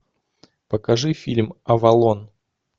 покажи фильм авалон